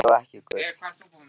En gul og ekki gul.